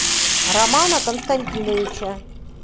романа константиновича